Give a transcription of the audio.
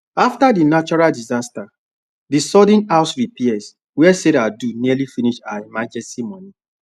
after the natural disaster the sudden house repairs wey sarah do nearly finish her emergency money